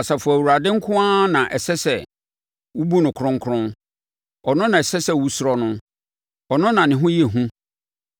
Asafo Awurade nko ara na ɛsɛ sɛ wobu no kronkron, ɔno na ɛsɛ sɛ wosuro no, ɔno na ne ho yɛ hu,